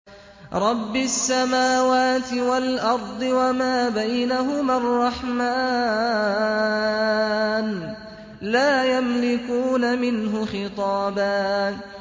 رَّبِّ السَّمَاوَاتِ وَالْأَرْضِ وَمَا بَيْنَهُمَا الرَّحْمَٰنِ ۖ لَا يَمْلِكُونَ مِنْهُ خِطَابًا